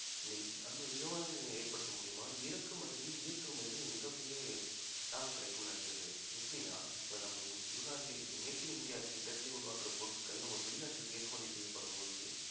விமான நிலையங்கள் ஏற்படுத்தும் மூலியமா இறக்குமதியிலும் ஏற்றுமதியிலும் மிகப்பெரிய லாபம் கிடைக்கும் நினைக்கிறேன் சதீஷ் எப்படினா இப்ப நம்ம உள்நாட்டிலயும் இப்ப make in இந்தியா திட்டத்திலே உருவாக்கிற பொருட்கள் நம்ம வெளிநாட்டுக்கு ஏற்றுமதி செய்யப்படும் போது